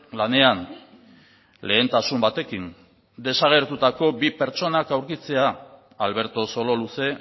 lanean lehentasun batekin desagertutako bi pertsonak aurkitzea alberto sololuze